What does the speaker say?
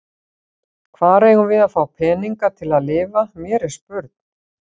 Hvar eigum við að fá peninga til að lifa, mér er spurn.